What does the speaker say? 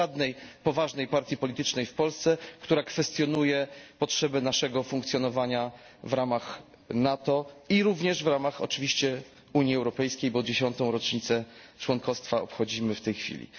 Nie ma żadnej poważnej partii politycznej w Polsce, która kwestionuje potrzebę naszego funkcjonowania w ramach NATO i również w ramach oczywiście Unii Europejskiej, bo 10 rocznicę członkostwa obchodzimy w tej chwili.